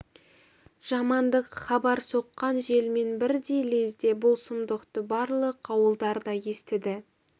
жамандық хабар соққан желмен бірдей лезде бұл сұмдықты барлық ауылдар да естіді